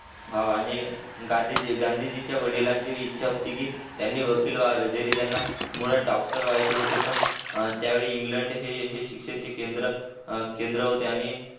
हो आणि गडिजिनच्या गांधीजींच्या वडिलांची इच्छा होती की त्यांनी वकील व्हावे जारी त्यांना मुळात डॉक्टर व्हायचे होते पण त्यावेळी इंग्लंड हे हे शिक्षण चे केंद्र केंद्र होते आणि